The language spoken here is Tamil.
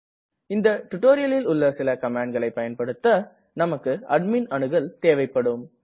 இந்த டுடோரியலில் உள்ள சில கமாண்ட்களை பயன்படுத்த நமக்கு அட்மிண் அணுகல் தேவைப்படும்